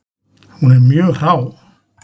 Hún er mjög hrá.